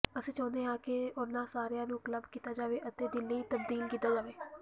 ਅਸੀਂ ਚਾਹੁੰਦੇ ਹਾਂ ਕਿ ਉਨ੍ਹਾਂ ਸਾਰਿਆਂ ਨੂੰ ਕਲੱਬ ਕੀਤਾ ਜਾਵੇ ਅਤੇ ਦਿੱਲੀ ਤਬਦੀਲ ਕੀਤਾ ਜਾਵੇ